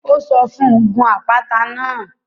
Ó sọ fún un; Gun àpáta náà